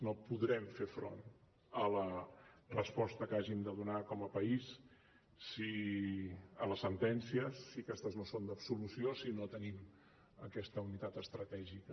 no podrem fer front a la resposta que hàgim de donar com a país a les sentències si aquestes no són d’absolució si no tenim aquesta unitat estratègica